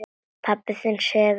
Pabbi þinn sefur.